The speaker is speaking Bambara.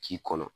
K'i kɔnɔ